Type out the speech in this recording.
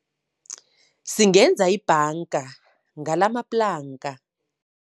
Singenza ibhanga ngalamaplanka.